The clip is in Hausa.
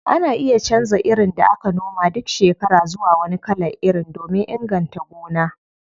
Ana iya canza irin da aka noma duk shekara zuwa wani kalan iri domin inganta gona.